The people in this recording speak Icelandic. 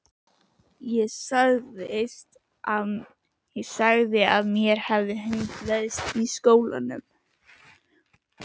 Ég sagði að mér hefði hundleiðst í skólanum!